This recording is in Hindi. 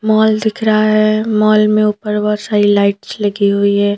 मॉल दिख रहा है मॉल मे ऊपर बहोत सारी लाइट्स लगी हुई है।